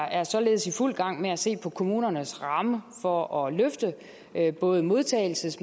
er således i fuld gang med at se på kommunernes ramme for at løfte både modtagelses